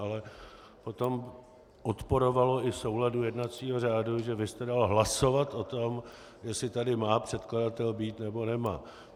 Ale potom odporovalo i souladu jednacího řádu, že vy jste dal hlasovat o tom, jestli tady má předkladatel být, nebo nemá.